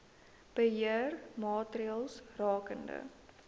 beheer maatreëls rakende